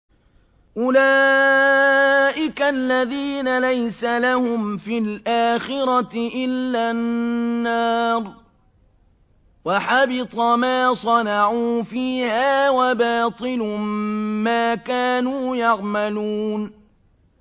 أُولَٰئِكَ الَّذِينَ لَيْسَ لَهُمْ فِي الْآخِرَةِ إِلَّا النَّارُ ۖ وَحَبِطَ مَا صَنَعُوا فِيهَا وَبَاطِلٌ مَّا كَانُوا يَعْمَلُونَ